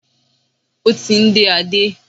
Ó ti ń dé Adé.